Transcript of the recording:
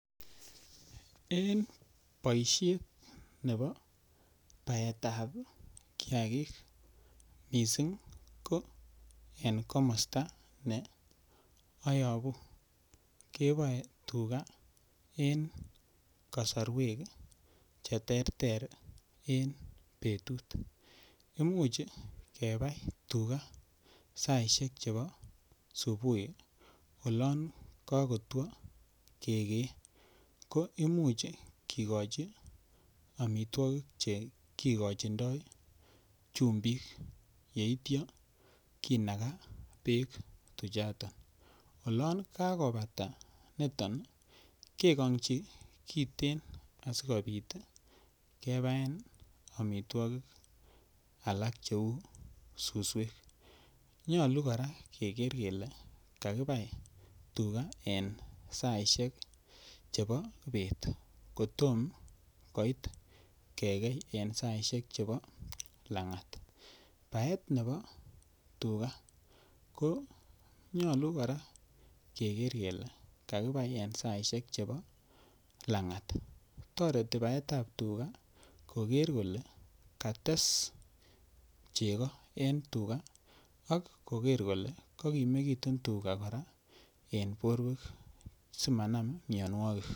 En boisiet nebo baetab kiakik mising ko en komosta ne ayabu, keboe tuga en kasarwek cheterter en betut. Imuch kabai tuga saisiek chebo subui olon kakotwo kegee. Koimuch kikochi amitwogik che kikochindo chumbik yeitya kinaga beek tuchoton. Olon kakobata nitok kegongchi kiten asigopit kebaen amitwogik alak cheu suswek. Nyalu kora keger kele kakibai tuga en saisiek chebo bet kotom koit kegei en saisiek chebo langat. Baet nebo tuga konyalu kora keger kele kakibai en saisiek chebo langat. Toreti baetab tuga koger kole kates chego en tuga ak koger kole kakimegitu tuga kora en borwek simanam mianwogik.